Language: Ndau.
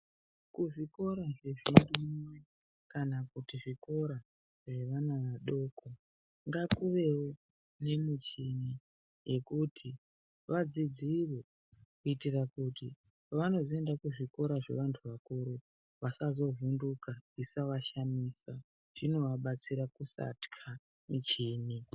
Kuzvikora zvepashi kana kuti zvikora zvevana vadoko ngakuvewo nemichini yekuti vadzidzire kuitira kuti pavanozoenda kuzvikora zvevantu vakuru vasazovhunduka zvishavashamisa zvinovabatsira kusatya michini